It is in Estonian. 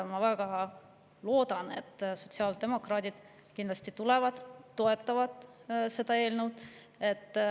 Ma väga loodan, et sotsiaaldemokraadid tulevad ja toetavad seda eelnõu.